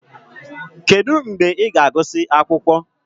Kedu mgbe ị ga-agụsị akwụkwọ?